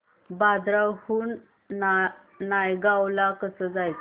बांद्रा हून नायगाव ला कसं जायचं